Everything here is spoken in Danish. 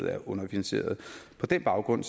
er underfinansieret på den baggrund